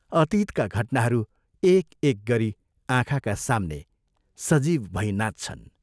अतीतका घटनाहरू एक एक गरी आँखाका साम्ने सजीव भई नाच्छन्।